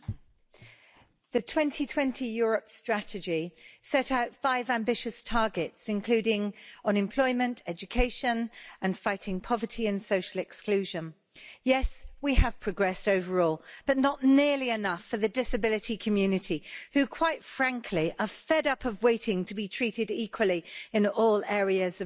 Mr President, the 2020 Europe strategy set out five ambitious targets, including unemployment, education, and fighting poverty and social exclusion. Yes, we have progressed overall, but not nearly enough for the disability community who, quite frankly, are fed up of waiting to be treated equally in all areas of life.